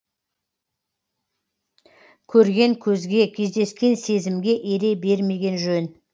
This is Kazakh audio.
көрген көзге кездескен сезімге ере бермеген жөн